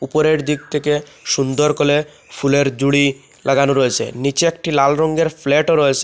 উপরের দিক থেকে সুন্দর কলে ফুলের জুড়ি লাগানো রয়েছে নীচে একটি লাল রংয়ের ফ্ল্যাটও রয়েছে।